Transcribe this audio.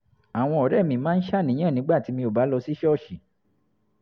àwọn ọ̀rẹ́ mi máa ń ṣàníyàn nígbà tí mi ò bá lọ sí ṣọ́ọ̀ṣì